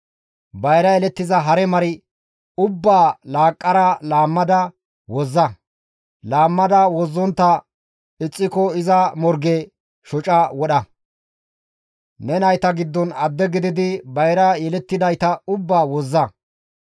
Bayra yelettiza hare mar ubbaa laaqqara laammada wozza; laammada wozzontta ixxiko iza morgen shoca wodha. Ne nayta giddon attuma gidi bayra yelettidayta ubbaa wozza.